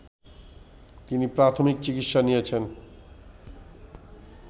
তিনি প্রাথমিক চিকিৎসা নিয়েছেন